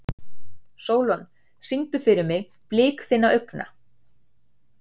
Sólon, syngdu fyrir mig „Blik þinna augna“.